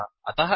अतः एवम्